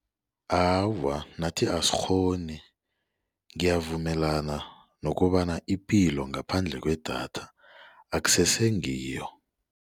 Awa, nathi asikghoni ngiyavumelana nokobana ipilo ngaphandle kwedatha akusese ngiyo.